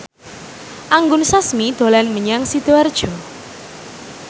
Anggun Sasmi dolan menyang Sidoarjo